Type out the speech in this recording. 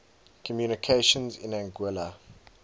communications in anguilla